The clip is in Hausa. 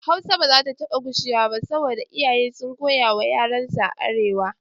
Hausa ba zata taɓa gushewa ba saboda iyaye sun koya wa yaransu a arewa